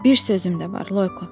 Bir sözüm də var, Loyko.